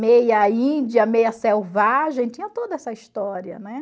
Meia índia, meia selvagem, tinha toda essa história, né?